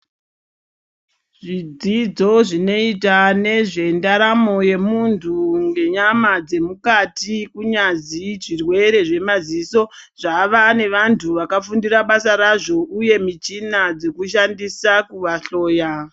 Zvidzidzo zvinoita nezvendaramo yemuntu ngenyama dzemukati kunyazwi zvirwere zvemadziso zvavanevantu vakafundira basa razvo uye michina dzekushandisa kuvahloya.